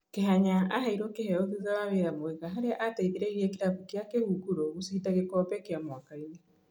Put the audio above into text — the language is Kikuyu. Kĩhanya aheirwo kĩheo thutha wa wĩra mwega harĩa ateithirie kĩrabu kĩa kĩhunguro gũcinda gĩkombe kĩa mwakainĩ.